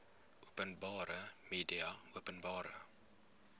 openbare media openbare